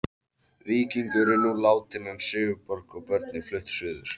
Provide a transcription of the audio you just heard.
Víkingur er nú látinn en Sigurborg og börnin flutt suður.